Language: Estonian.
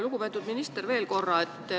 Lugupeetud minister!